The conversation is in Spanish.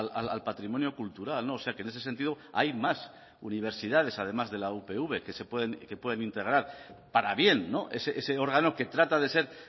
al patrimonio cultural no o sea que en ese sentido hay más universidades además de la upv que se pueden que pueden integrar para bien ese órgano que trata de ser